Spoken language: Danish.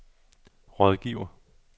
rådgiver